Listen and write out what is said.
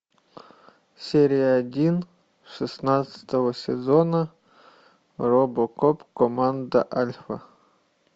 серия один шестнадцатого сезона робокоп команда альфа